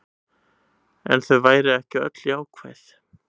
En þau væru ekki öll jákvæð